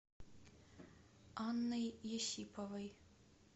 анной есиповой